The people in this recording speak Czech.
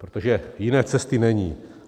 Protože jiné cesty není.